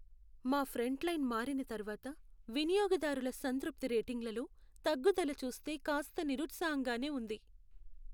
మా ఫ్రంట్లైన్ మారిన తర్వాత వినియోగదారుల సంతృప్తి రేటింగ్లలో తగ్గుదల చూస్తే కాస్త నిరుత్సాహంగానే ఉంది.